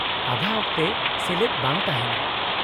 -ᱟᱫᱷᱟ ᱚᱠᱛᱮ ᱥᱮᱞᱮᱫ ᱵᱟᱝ ᱛᱟᱦᱮᱱᱟ ᱾